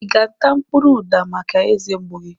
I ga-ata mkpụrụ uda maka eze mgbu gị?